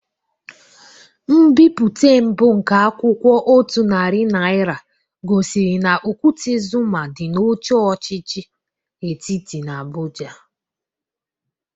Mbipụte mbụ nke akwụkwọ otu narị naịra gosiri na okwute Zuma dị na oche ọchịchị etiti n'Abụja.